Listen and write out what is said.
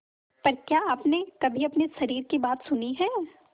पर क्या आपने कभी अपने शरीर की बात सुनी है